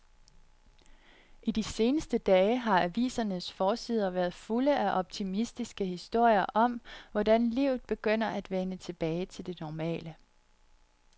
I de seneste dage har avisernes forsider været fulde af optimistiske historier om, hvordan livet begynder at vende tilbage til det normale.